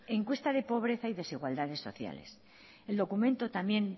encuesta de pobreza y desigualdad de sociales el documento también